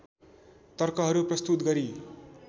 तर्कहरू प्रस्तुत गरी